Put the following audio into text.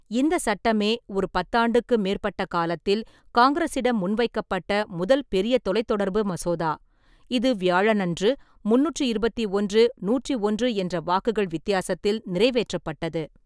இந்தச் சட்டமே ஒரு பத்தாண்டுக்கு மேற்பட்ட காலத்தில் காங்கிரஸிடம் முன்வைக்கப்பட்ட முதல் பெரிய தொலைத்தொடர்பு மசோதா, இது வியாழன் அன்று முந்நூற்றி இருபத்தி ஒன்று - நூற்றி ஒன்று என்ற வாக்குகள் வித்தியாசத்தில் நிறைவேற்றப்பட்டது.